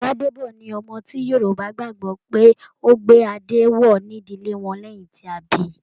Gbàdèbọ̀ ni ọmọ ti Yorùbá gbagbọ pe o gbé adé wọ ìdílé wọn lẹyìn tí a bí.